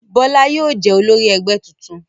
Bọ́lá yóò jẹ́ olórí ẹgbẹ́ tuntun.